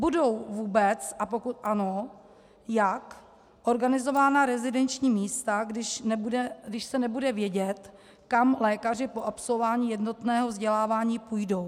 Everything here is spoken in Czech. Budou vůbec - a pokud ano, jak - organizována rezidenční místa, když se nebude vědět, kam lékaři po absolvování jednotného vzdělávání půjdou?